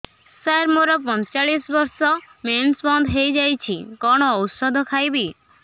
ସାର ମୋର ପଞ୍ଚଚାଳିଶି ବର୍ଷ ମେନ୍ସେସ ବନ୍ଦ ହେଇଯାଇଛି କଣ ଓଷଦ ଖାଇବି